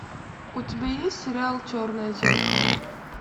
у тебя есть сериал черное зеркало